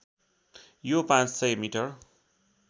यो ५०० मिटर